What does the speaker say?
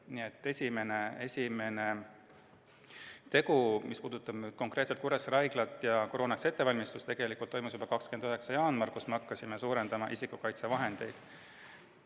Nii et esimene tegu, mis puudutab konkreetselt Kuressaare Haiglat ja koroonaks valmistumist, toimus tegelikult juba 29. jaanuaril, kui hakkasime suurendama isikukaitsevahendite varu.